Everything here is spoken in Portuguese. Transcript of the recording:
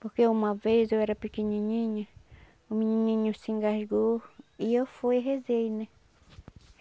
Porque uma vez eu era pequenininha, um menininho se engasgou e eu fui e rezei, né?